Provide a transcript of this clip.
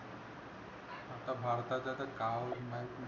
आता भारताच तर काम नाही